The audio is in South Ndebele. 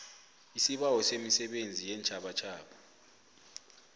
isibawo semisebenzi yeentjhabatjhaba